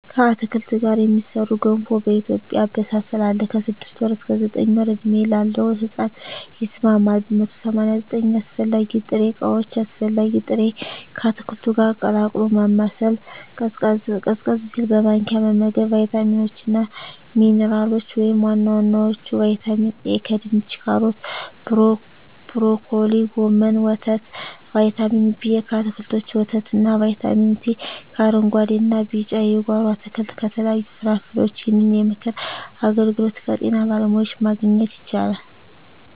ከአትክልት ጋር የሚሠራ ገንፎ በኢትዮጵያ አበሳሰል አለ። ከ6 ወር እስከ 9 ወር ዕድሜ ላለው ሕጻን ይስማማል። 189 አስፈላጊ ጥሬ ዕቃዎች አስፈላጊ ጥሬ...፣ ከአትክልቱ ጋር ቀላቅሎ ማማሰል፣ ቀዝቀዝ ሲል በማንኪያ መመገብ። , ቫይታሚኖች እና ሚንራሎች(ዋና ዋናዎቹ) ✔️ ቫይታሚን ኤ: ከድንች ካሮት ብሮኮሊ ጎመን ወተት ✔️ ቫይታሚን ቢ: ከአትክልቶች ወተት እና ✔️ ቫይታሚን ሲ: ከአረንጉአዴ እና ቢጫ የጓሮ አትክልት ከተለያዩ ፍራፍሬዎች ይህንን የምክር አገልግሎት ከጤና ባለሙያዎች ማግኘት ይቻላል።